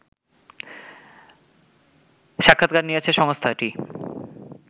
সাক্ষাৎকার নিয়েছে সংস্থাটি